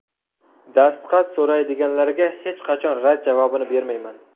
Dastxat so‘raydiganlarga hech qachon rad javobini bermayman.